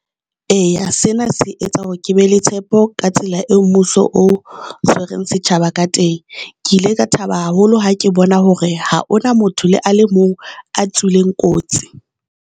Eya, sena se etsa hore ke be le tshepo ka tsela eo mmuso o tshwereng setjhaba ka teng. Ke ile ka thaba haholo ha ke bona hore ha hona motho le a le mong a tswileng kotsi.